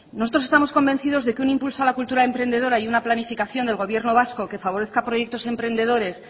nosotros estamos convencido de que un impulso a la cultura emprendedora y una planificación del gobierno vasco que favorezca proyectos emprendedores